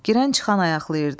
Girən çıxan ayaqlayırdı.